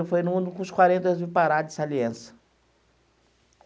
E foi no no com os quarenta, eu vim parar de saliência.